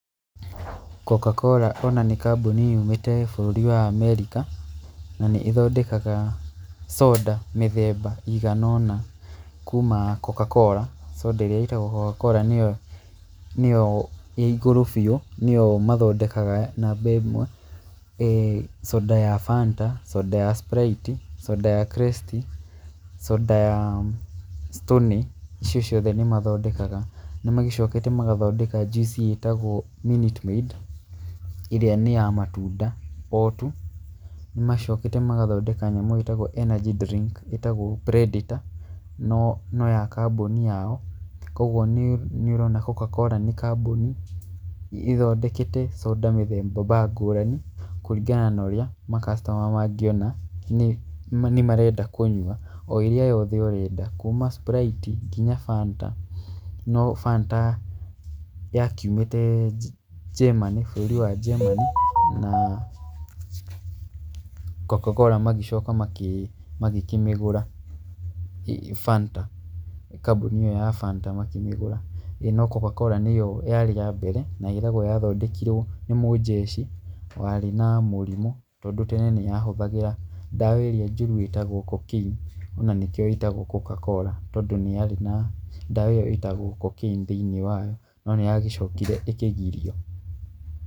Coca-cola ona nĩ kambuni yumĩte bũrũri wa America na nĩ ĩthondekaga soda mĩthemba ĩigana ũna kuma Cocacola, soda ĩrĩa ĩtagwo Cocacola nĩo ĩĩ igũrũ biũ, nĩyo mathondekaga namba ĩmwe. Soda ya Fanta, soda ya Sprite, soda ya Krest, soda ya Stoney, icio ciothe nĩ mathondekaga. Nĩ magĩcokete magathondeka juice ĩtagwo Minute Maid ĩrĩa nĩ ya matunda o tu. Macokete magathondeka nyamũ ĩtagwo energy drink ĩtagwo Predetor no ya kambuni yao. Koguo nĩ ũrona Coca-cola nĩ kambuni ĩthondekete soda mĩthemba ngũrani kũringana na ũrĩa ma customer mangĩona nĩ marenda kũnyua. O ĩrĩa yothe ũrenda kuuma Sprite nginya Fanta, no Fanta yakiumĩte bũrũri wa Germany, no Coca-cola magĩcoka magĩkĩmigũra ĩĩ Fanta, kambuni ĩyo ya Fanta makĩmĩgũra. No Coca-cola nĩyo ya mbere na ĩragwo yathondekirwo nĩ mũnjeci warĩ na mũrimũ tondũ tene nĩ yahũthagĩra ndawa ĩrĩa njũru ĩtagwo cocoaine na nĩkĩo ĩtagwo Coca-cola, tondũ nĩ yarĩ na ndawa ĩyo ĩtagwo cocaine thĩiniĩ wayo no nĩ yagĩcokire ĩkĩgirio.